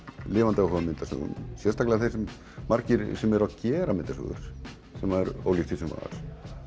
lifandi áhuga á myndasögu margir sem eru að gera myndasögur sem er ólíkt því sem var